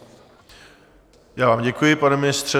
Já vám děkuji, pane ministře.